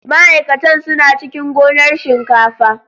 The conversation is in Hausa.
Ma'aikatan suna cikin gonar shinkafa.